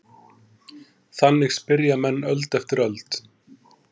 Þannig spyrja menn öld eftir öld.